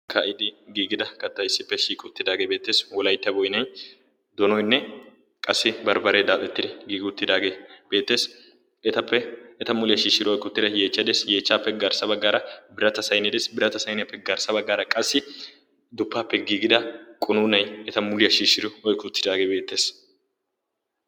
aakidi giigida katta issippe shiiqi uttidaagee beettees wolaytta boynay donoynne qassi barbbaree daaxettida giigi uttidaagee beettees etappe eta muliyaa shiishshiro oykki uttida yeechchade yeechcha peggaarssa baggaara birata saynie ees birata sayniyaa peggaarssa baggaara qassi duppappe giigida qonuunay eta muliyaa shiishshiro oykki uttidaagee beettees